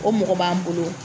O mɔgɔ b'an bolo.